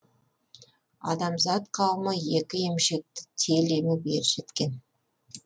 адамзат қауымы екі емшекті тел еміп ержеткен